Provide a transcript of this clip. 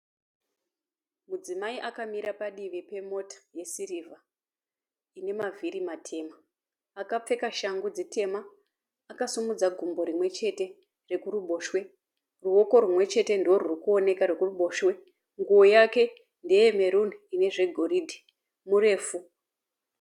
Mudzimayi akamira padivi pemota yesirivha inemavhiri matema. Akapfeka shangu dzitema akasimudza gumbo rimwe chete rekuruboshwe. Ruoko rumwe chete ndorurikuoneka rwekuruboshwe. Nguwo yake ndeyemeruni inezvegoridhe. Murefu.